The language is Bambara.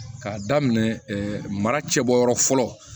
K'a daminɛ mara cɛbɔyɔrɔ fɔlɔ